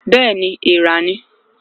Bẹẹni èèrà ni